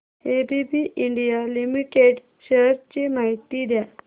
ABB India limited shares ची माहिती द्या